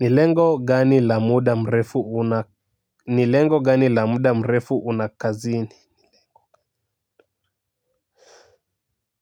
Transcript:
Ni lengo gani la muda mrefu una kazini